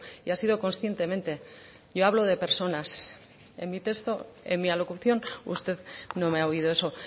y ha sido conscientemente yo hablo de personas en mi texto en mi alocución usted no me ha oído eso